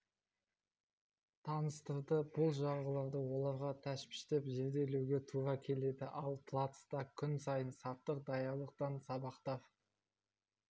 таныстырды бұл жарғыларды оларға тәптіштеп зерделеуге тура келеді ал плацта күн сайын саптық даярлықтан сабақтар